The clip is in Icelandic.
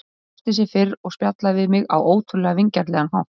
Hún brosti sem fyrr og spjallaði við mig á ótrúlega vingjarnlegan hátt.